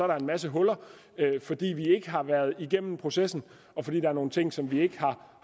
der en masse huller fordi vi ikke har været igennem processen og fordi der er nogle ting som vi ikke har